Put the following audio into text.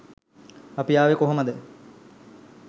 අපි ආවේ කොහොමද?